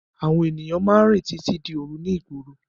Àwọn ènìyàn máa ń rìn títí di òru ní ìgboro.